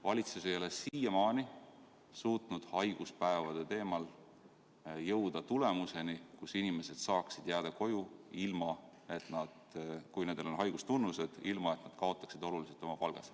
Valitsus ei ole siiamaani suutnud haiguspäevade teemat arutades jõuda otsuseni, et inimesed võivad jääda koju, kui neil on haigustunnused, ilma et nad kaotaksid oluliselt oma palgas.